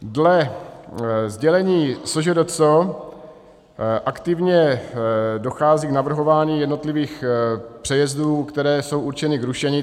Dle sdělení SŽDC aktivně dochází k navrhování jednotlivých přejezdů, které jsou určeny k rušení.